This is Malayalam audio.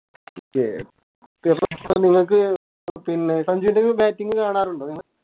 നിങ്ങക്ക് പിന്നെ സഞ്ചുൻറെ Batting കാണാറുണ്ടോ നിങ്ങൾ